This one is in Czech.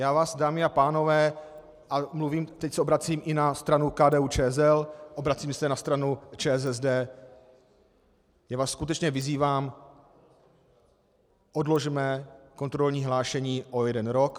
Já vás, dámy a pánové, a teď se obracím i na stranu KDU-ČSL, obracím se na stranu ČSSD, já vás skutečně vyzývám - odložme kontrolní hlášení o jeden rok.